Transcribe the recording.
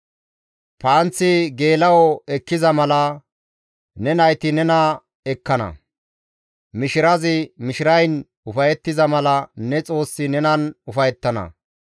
Panththi geela7o ekkiza mala, ne nayti nena ekkana; mishirazi mishirayn ufayettiza mala, ne Xoossi nenan ufayettana.